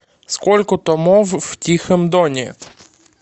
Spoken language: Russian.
сколько томов в тихом доне